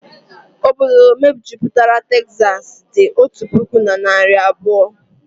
Obodo mejupụtara Tezasi dị otu puku na narị abụọ